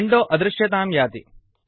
window अदृश्यतां याति